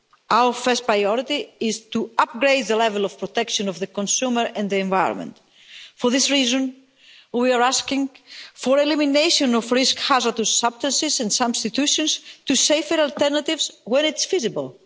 Our first priority is to upgrade the level of protection of the consumer and the environment. For this reason, we are asking for the elimination of risk hazardous substances and substitutions to safer alternatives when it's feasible.